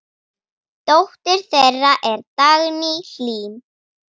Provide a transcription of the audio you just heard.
Dóttir þeirra er Dagný Hlín.